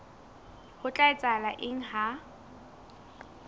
ho tla etsahala eng ha